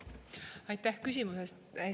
Aitäh küsimuse eest!